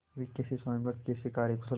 वे कैसे स्वामिभक्त कैसे कार्यकुशल